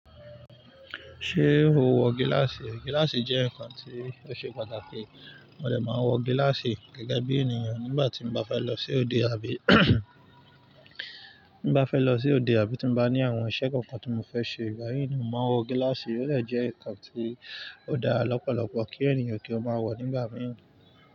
Ṣé o wọ gíláàsì? Gíláàsì jẹ́ ǹkan tí ó ṣe pàtàkì. Mo dè máa wọ gíláàsì gẹ́gẹ́ bí ènìyàn nígbà tí mo bá fẹ́ lọ sí òde àbí bá fẹ́ lọ sí òde àbí tí mo bá ní àwọn iṣẹ́ kankan tí mo fẹ́ ṣe. Ìbà yìí ni mo máa ń wọ gíláàsì, ó dè jẹ́ ǹkan tí ó dára lọ́pọ̀lọpọ̀ kí ènìyàn kí ó máa wọ̀ nígbà mìíràn.